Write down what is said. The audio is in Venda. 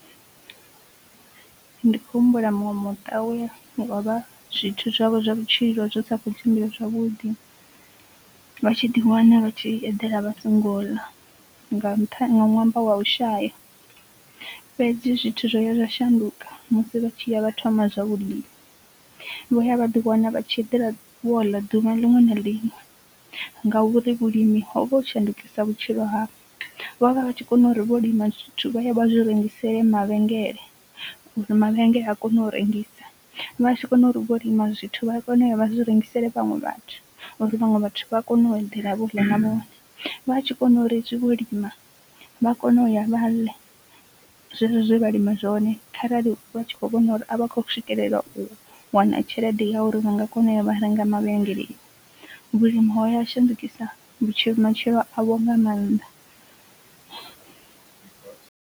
Ndi khou humbula muṅwe muṱa we avha zwithu zwavho zwa vhutshilo zwi sa kho tshimbila zwavhuḓi vha tshi ḓi wana vha tshi eḓela vha songo ḽa nga nṱhani wa ṅwambo wa ushaya, fhedzi zwithu zwo ya zwa shanduka musi vha tshi ya vha thoma zwa vhulimi. Vho ya vha ḓi wana vha tshi eḓela vho ḽa duvha liṅwe na liṅwe ngauri vhulimi ho vha u shandukisa vhutshilo havho, vho vha vha vha tshi kona uri vho lima zwithu vha ye vha zwi rengisele mavhengele, mavhengele a kone u rengisa vha. Vha tshi kona uri vho lima zwithu vha kone uya vha zwi rengisela vhaṅwe vhathu uri vhaṅwe vhathu vha kone u eḓela vho ḽa na vhone, vha tshi kona uri hezwi vho lima vha kone u ya vha ḽe zwezwo zwe vha lima zwone kharali vha tshi kho vhona uri a vha kho swikelela u wana tshelede ya uri vha nga kona u ya vha renga mavhengeleni, vhulimi hoya ha shandukisa vhutshilo matshilo avho nga mannḓa.